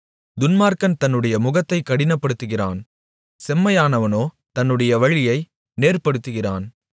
துன்மார்க்கன் தன்னுடைய முகத்தைக் கடினப்படுத்துகிறான் செம்மையானவனோ தன்னுடைய வழியை நேர்ப்படுத்துகிறான்